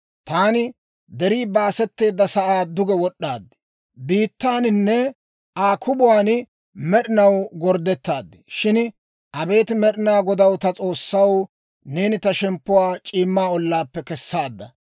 Taani deri baasetteedda sa'aa duge wod'd'aad; biittaaninne Aa kubuwan med'inaw gorddettad. Shin abeet Med'inaa Godaw, ta S'oossaw, neeni ta shemppuwaa c'iimma ollaappe kessaadda.